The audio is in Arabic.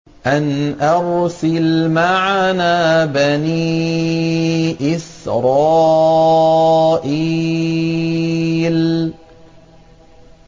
أَنْ أَرْسِلْ مَعَنَا بَنِي إِسْرَائِيلَ